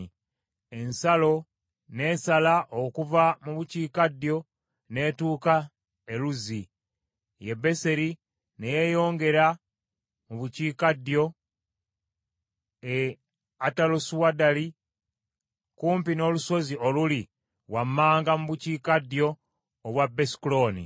Ensalo n’esala okuva mu bukiikaddyo n’etuuka e Luzi ye Beseri ne yeeyongera mu bukiikaddyo e Atalosuaddali kumpi n’olusozi oluli wammanga mu bukiikaddyo obwa Besukolooni.